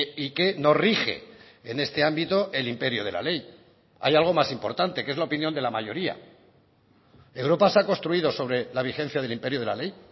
y que nos rige en este ámbito el imperio de la ley hay algo más importante que es la opinión de la mayoría europa se ha construido sobre la vigencia del imperio de la ley